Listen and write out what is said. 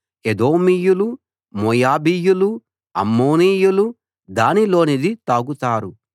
ఎదోమీయులు మోయాబీయులు అమ్మోనీయులు దానిలోనిది తాగుతారు